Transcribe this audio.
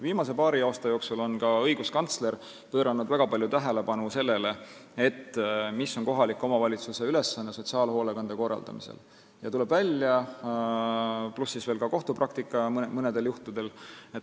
Viimase paari aasta jooksul on ka õiguskantsler pööranud väga palju tähelepanu sellele, mis on kohaliku omavalitsuse ülesanne sotsiaalhoolekande korraldamisel, pluss on olnud kohtupraktikat mõnedel juhtudel.